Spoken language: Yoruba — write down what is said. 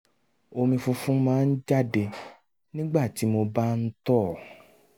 omi funfun máa ń jáde nígbà tí mo bá ń tọ̀